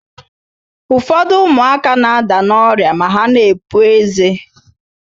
Ụfọdụ ụmụaka na-ada n' ọrịa ma ha na-epu eze.